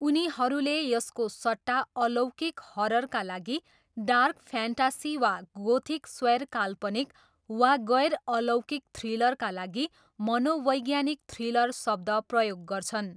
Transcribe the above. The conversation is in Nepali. उनीहरूले यसको सट्टा अलौकिक हररका लागि डार्क फ्यान्टासी वा गोथिक स्वैरकाल्पनिक, वा गैर अलौकिक थ्रिलरका लागि मनोवैज्ञानिक थ्रिलर शब्द प्रयोग गर्छन्।